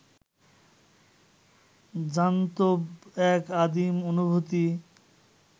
জান্তব এক আদিম অনুভূতি